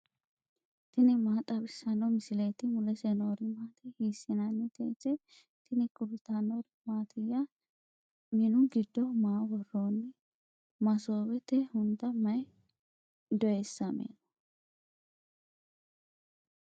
tini maa xawissanno misileeti ? mulese noori maati ? hiissinannite ise ? tini kultannori mattiya? Minnu giddo maa woroonni? Masoowette hunda may dooyisamme noo?